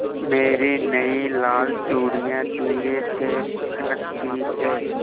मेरी नयी लाल चूड़ियाँ धीरे से खनकती हैं